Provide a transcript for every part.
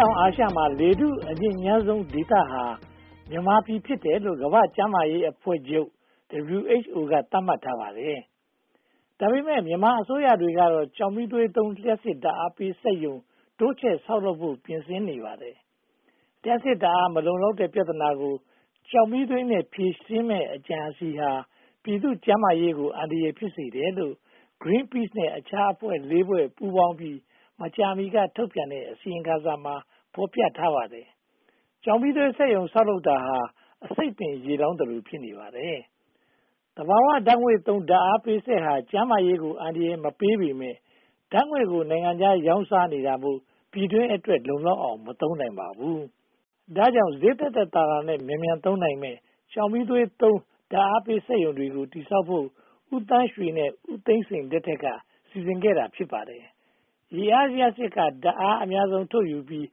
ောင်အာရှမှာ လေထုအညစ်ညမ်းဆုံးဒေသဟာ မြန်မာပြည်ဖြစ်တယ်လို့ ကမ္ဘာ့ကျန်းမာရေးအဖွဲ့ချုပ် WHO က သတ်မှတ်ထားပါတယ်။ ဒါပေမဲ့ မြန်မာအစိုးရတွေကတော့ ကျောက်မီးသွေးသုံး လျှပ်စစ်ဓါတ်အားပေးစက်ရုံ တိုးချဲ့ဆောက်လုပ်ဖို့ ပြင်ဆင်နေကြပါတယ်။ လျှပ်စစ်ဓါတ်အား မလုံလောက်တဲ့ ပြဿနာကို ကျောက်မီးသွေးနဲ့ ဖြေရှင်းမယ့် အကြံအစည်ဟာ ပြည်သူ့ကျန်းမာရေးကို အန္တရာယ်ဖြစ်စေတယ်လို့ Green Peace နဲ့ အခြားအဖွဲ့ (၄) ဖွဲ့ ပူးပေါင်းပြီး မကြာမီက ထုတ်ပြန်တဲ့ အစီရင်ခံစာမှာ ဖော်ပြထားပါတယ်။ ကျောက်မီးသွေးစက်ရုံ ဆောက်တာဟာ အဆိပ်ပင်ရေလောင်းသလို ဖြစ်နေပါတယ်။ သဘာဝဓါတ်ငွေ့သုံး ဓါတ်အားပေးစက်ဟာ ကျန်းမာရေးကို အန္တရာယ်မပေးသင့်ပေမယ့် ဓါတ်ငွေ့ကို နိုင်ငံခြားရောင်းစားနေတာမို့ ပြည်တွင်းအတွက် လုံလောက်အောင် မသုံးနိုင်ပါဘူး။ ဒါကြောင့် ဈေးသက်သက်သာသာနဲ့ မြန်မြန်သုံးနိုင်မယ့် ကျောက်မီးသွေးသုံး ဓါတ်အားပေးစက်ရုံတွေကို တည်ဆောက်ဖို့ ဦးသန်းရွှေနဲ့ ဦးသိန်းစိန်လက်ထက်က စီစဉ်ခဲ့တာ ဖြစ်ပါတယ်။ ရေအားလျှပ်စစ်က ဓါတ်အားအများဆုံး ထုတ်ယူပြီး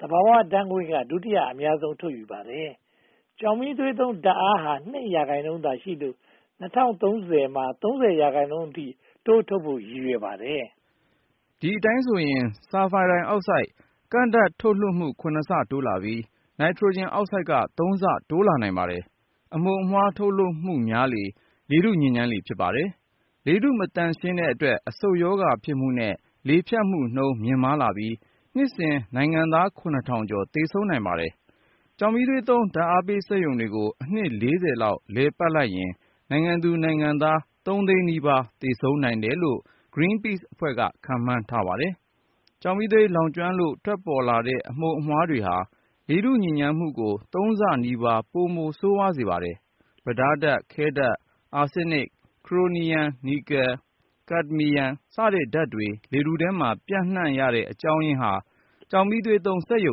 ၊ သဘာဝဓါတ်ငွေ့က ဒုတိယ အများဆုံး ထုတ်ယူပါတယ်။ ကျောက်မီးသွေးသုံးဓါတ်အားဟာ (၂) ရာခိုင်နှုန်းသာရှိလို့ ၂၀၀၃ ခုနှစ်မှာ (၃၀) ရာခိုင်နှုန်းအထိ တိုးထုတ်ဖို့ ရည်ရွယ်ပါတယ်။ ဒီအတိုင်းဆိုရင် Sulphar Dioxide ကန့်ဓါတ်ထုတ်လွှတ်မှု (၇) ဆ တိုးလာပြီး Nitrogen Oxide က (၃) လ တိုးလာနိုင်ပါတယ်။ အမှုန်အမွှား ထုတ်လုပ်မှုများလေ လေထုညစ်ညမ်းလေ ဖြစ်ပါတယ်။ လေထုမသန့်ရှင်းတဲ့အတွက် အဆုတ်ရောဂါ ဖြစ်မှုနဲ့ လေဖြတ်မှုနှုန်း မြင့်မားလာပြီ နှစ်စဉ် နိုင်ငံသား (၇၀၀၀) ကျော် သေဆုံးနိုင်ပါတယ်။ ကျောက်မီးသွေးသုံး ဓါတ်အားပေးစက်ရုံတွေကို အနှစ် (၄၀) လောက် လည်ပတ်နိုင်ရင် နိုင်ငံသူနိုင်ငံသား (၃) သိန်းနီးပါး သေဆုံးနိုင်တယ်လို့ Greenpeace အဖွဲ့ကြီးက ခန့်မှန်းပါတယ်။ ကျောက်မီးသွေး လောင်ကျွမ်းလို့ ပေါ်ထွက်လာတဲ့ အမှုန်အမွှားတွေဟာ လေထုညစ်ညမ်းမှုကို သုံးဆနီးပါး ပိုမိုဆိုးဝါးစေပါတယ်။ ပြဒါးဓါတ်၊ ခဲဓါတ်၊ အားဆင်းနစ်၊ ခရိုမီယမ်၊ နီကယ်၊ ကပ်ဒမီယံ စတဲ့ ဒြပ်စင်တွေ လေထုထဲမှာ ပျံ့နံှ့ရတဲ့အကြောင်းရင်းဟာ ကျောက်မီးသွေးသုံး စက်ရုံ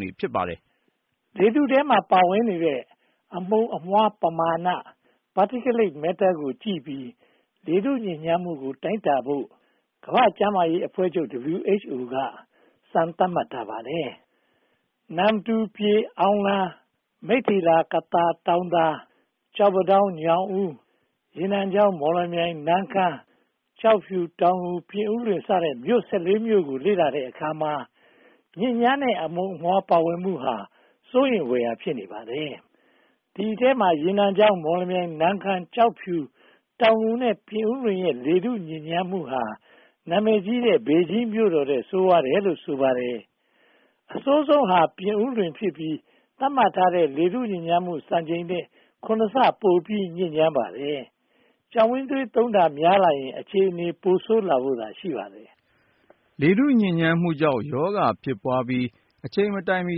တွေ ဖြစ်ပါတယ်။ လေထုထဲမှာ ပါဝင်နေတဲ့ အမှုန်အမွှားပမာဏ Particulate Matter ကိုကြည့်ပြီး လေထုညစ်ညမ်းမှုကို တိုင်းတာဖို့ ကမ္ဘာ့ကျန်းမာရေးအဖွဲ့ချုပ် WHO က စံသတ်မှတ်ထားပါတယ်။ နမ္မတူ၊ ပြည်၊ အောင်လံ၊ မိတ္ထီလာ၊ ကသာ၊ တောင်သာ၊ ကျောက်ပန်းတောင်း၊ ညောင်ဦး၊ ရေနံချောင်း၊ မောင်လမြိုင်၊ နမ်းခမ်း၊ ကျောက်ဖြူ၊ တောင်ငူ၊ ပြည်ဦးလွင် စတဲ့ မြို့ (၁၄) မြို့ကို လေ့လာတဲ့အခါမှာ ညစ်ညမ်းတဲ့ အမှုန်အမွှား ပါဝင်မှုဟာ စိုးရိမ်ဖွယ် ဖြစ်နေပါတယ်။ ဒီအထဲမှာ ရေနံချောင်း၊ မော်လမြိုင်၊ နမ်းခမ်း၊ ကျောက်ဖြူ၊ တောင်ငူ နဲ့ ပြင်ဦးလွင်ရဲ့ လေထုညစ်ညမ်းမှုဟာ နာမည်ကြီးတဲ့ ဘေဂျင်းမြို့တော်ထက် ဆိုးဝါးတယ်လို့ ဆိုပါတယ်။ အဆိုးဆုံးဟာ ပြင်ဦးလွင်ဖြစ်ပြီး သတ်မှတ်ထားတဲ့ လေထုညစ်ညမ်းမှု စံချိန်ထက် (၇) ဆ ပိုပြီးညစ်ညမ်းပါတယ်။ ကျောက်မီးသွေးသုံးတာ များလာရင် အခြေအနေ ပိုဆိုးလာဖို့သာ ရှိပါတယ်။ လေထုညစ်ညမ်းမှုကြောင့် ရောဂါဖြစ်ပွားပြီး အချိန်မတိုင်မီ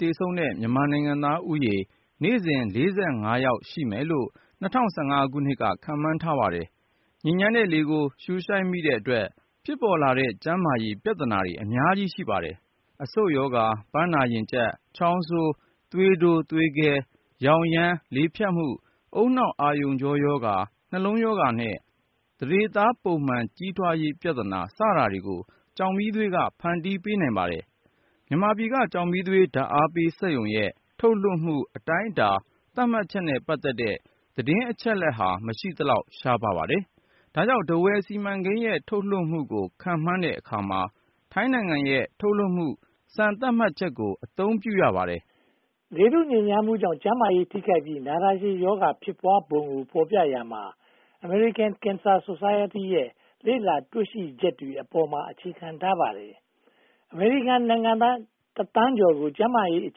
သေဆုံးတဲ့ မြန်မာနိုင်ငံသားဦးရေ နေ့စဉ် (၄၅) ယောက် ရှိမယ်လို့ (၂၀၁၅) ခုနှစ်က ခန့်မှန်းထားပါတယ်။ ညစ်ညမ်းတဲ့လေကို ရှုရှိုက်မိတဲ့အတွက် ဖြစ်ပေါ်လာတဲ့ ကျန်းမာရေးပြဿနာတွေ အများကြီး ရှိပါတယ်။ အဆုတ်ရောဂါ၊ ပန်းနာရင်ကျပ်၊ ချောင်းဆိုး၊ သွေးတိုး၊ သွေးခဲ၊ ယောင်ယမ်း၊ လေဖြတ်မှု၊ ဦးနှောက်အာရုံကြောရောဂါ၊ နှလုံးရောဂါနဲ့ သန္ဓေသား ပုံမှန်ကြီးထွားရေး ပြဿနာစတာတွေကို ကျောက်မီးသွေးက ဖန်တီးပေးနိုင်ပါတယ်။ မြန်မာပြည်က ကျောက်မီးသွေး ဓါတ်အားပေးစက်ရုံရဲ့ ထုတ်လွှတ်မှု အတိုင်းအတာ သတ်မှတ်ချက်နဲ့ ပတ်သက်တဲ့ သတင်းအချက်အလက်ဟာ မရှိသလောက် ရှားပါးတယ်။ ဒါကြောင့် ထားဝယ်စီမံကိန်းရဲ့ ထုတ်လွှတ်မှုကို ခန့်မှန်းတဲ့အခါမှာ ထိုင်းနိုင်ငံရဲ့ ထုတ်လွှတ်မှုစံ သတ်မှတ်ချက်ကို အသုံးပြုရပါတယ်။ လေထုညစ်ညမ်းမှုကြောင့် ကျန်းမာရေးထိခိုက်ပြီး နာတာရှည်ရောဂါ ဖြစ်ပွားပုံကို ဖော်ပြရာမှာ American Cancer Society ရဲ့ လေ့လာတွေ့ရှိချက်တွေအပေါ်မှာ အခြေခံထားပါတယ်။ အမေရိကန်နိုင်ငံသား တသန်းကျော်ရဲ့ ကျန်းမာရေးအ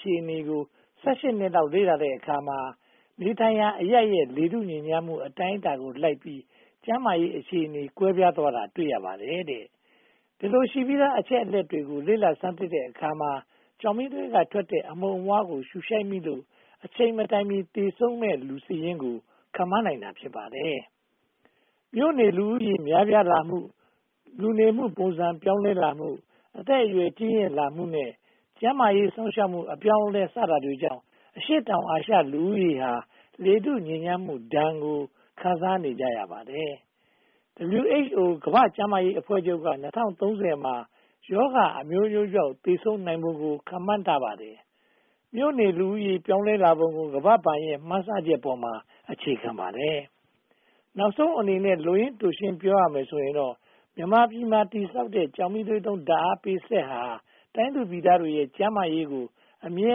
ခြေအနေကို (၁၈) နှစ်လောက် လေ့လာတဲ့အခါမှာ နေထိုင်ရာအရပ်ရဲ့ လေထုညစ်ညမ်းမှု အတိုင်းအတာကိုလိုက်ပြီး ကျန်းမာရေးအခြေအနေ ကွဲပြားသွားတာ တွေ့ရပါတယ်တဲ့။ ဒီလိုရှိပြီးသား အချက်အလက်တွေကို လေ့လာဆန်းစစ်တဲ့အခါမှာ ကျောက်မီးသွေးက ထွက်တဲ့ အမှုန်အမွှားတွေကို ရှုရှိုက်မိလို့ အချိန်မတိုင်မီ သေဆုံးမယ့်သူစာရင်းကို ခန့်မှန်းနိုင်တာ ဖြစ်ပါတယ်။ မြို့နေလူဦးရေ များပြားလာမှု၊ လူနေမှုပုံစံ ပြောင်းလဲလာမှု၊ အသက်အရွယ် ကြီးရင့်လာမှုနဲ့ ကျန်းမာရေး စောင့်ရှောက်မှု အပြောင်းအလဲ စတာတွေကြောင့် အရှေ့တောင်အာရှ လူဦးရေဟာ လေထုညစ်ညမ်းမှုဒဏ်ကို ခံစားနေကြရပါတယ်။ WHO ကမ္ဘာ့ကျန်းမာရေးအဖွဲ့ချုပ်က ၂၀၃၀ မှာ ရောဂါအမျိုးမျိုးကြောင့် သေဆုံးနိုင်ပုံကို ခန့်မှန်းထားပါတယ်။ မြို့နေလူဦးရေ ပြောင်းလဲလာပုံကို ကမ္ဘာ့ဘဏ်ရဲ့ မှန်းဆချက်ပေါ်မှာ အခြေခံပါတယ်။ နောက်ဆုံးအနေနဲ့ လိုရင်းတိုရှင်း ပြောရမယ်ဆိုရင်တော့ မြန်မာပြည်မှာ တည်ဆောက်မယ့် ကျောက်မီးသွေးသုံး ဓါတ်အားပေးစက်ရုံဟာ တိုင်းသူပြည်သားတွေရဲ့ ကျန်းမာရေးကို အမြဲ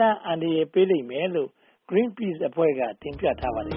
တမ်း အန္တရာယ်ပေးလိမ့်မယ်လို့ Greenpeace အဖွဲ့က တင်ပြထားပါတယ်